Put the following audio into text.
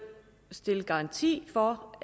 stille garanti for